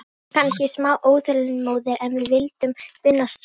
Við vorum kannski smá óþolinmóðir og vildum vinna strax.